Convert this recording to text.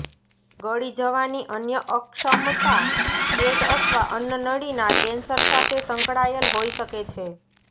ગળી જવાની અન્ય અક્ષમતા પેટ અથવા અન્નનળીના કેન્સર સાથે સંકળાયેલ હોઈ શકે છે